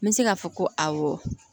N bɛ se k'a fɔ ko awɔ